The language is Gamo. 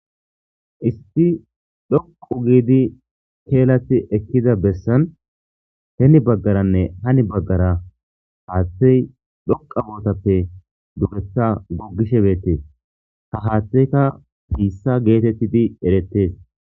Issi dhoqu gidi kelatiutida besan hini bagaranne hani bagara hathayi dhuqu gida sohoppe dugetha gogishe betes ha hathayika bitha getetidi eretes